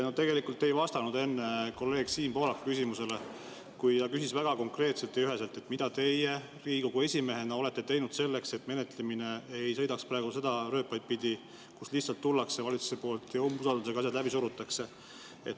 No tegelikult te ei vastanud enne kolleeg Siim Pohlaku küsimusele, kui ta küsis väga konkreetselt ja üheselt, mida teie Riigikogu esimehena olete teinud selleks, et menetlemine ei sõidaks praegu neid rööpaid pidi, kus valitsus lihtsalt tuleb ja usaldushääletusega asjad läbi surub.